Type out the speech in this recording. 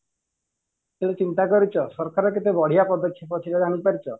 କେବେ ଚିନ୍ତା କରିଛ ସରକାର କେତେ ବଢିଆ ପଦକ୍ଷେପ ସେଇଟା ଜାଣିପାରିଚ